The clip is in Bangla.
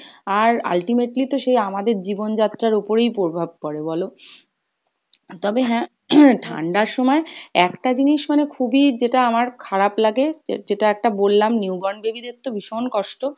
আর ultimately তো সেই আমাদের জীবন যাত্রার ওপরেই প্রভাব পরে বলো? তবে হ্যাঁ ঠাণ্ডার সময় একটা জিনিস মানে খুবই যেটা আমার খারাপ লাগে যে~ যেটা একটা বললাম, new born baby দের তো ভীষণ কষ্ট